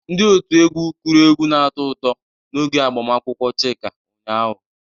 Ndị otu egwu kụru egwu na-atọ ụtọ n'oge agbamakwụkwọ Chika ụnyaahụ.